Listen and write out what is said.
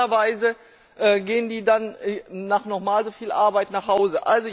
Normalerweise gehen die dann nach noch einmal so viel Arbeit nachhause.